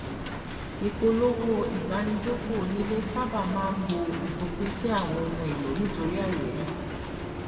ìpolówó ìbánigbófò onílé sáábà máa ń bo ìfòpin sí àwọn ohun èlò nítorí àìrírì